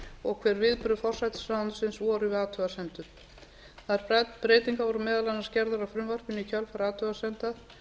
og hver viðbrögð forsætisráðuneytisins voru við athugasemdum þær breytingar voru meðal annars gerðar á frumvarpinu í kjölfar athugasemda